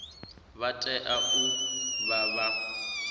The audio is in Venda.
vha tea u vha vha